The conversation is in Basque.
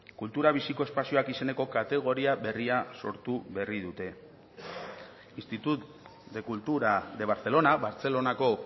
kultura biziko espazioak izeneko kategoria berria sortu berri dute institut de cultura de barcelona bartzelonako